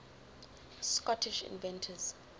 scottish inventors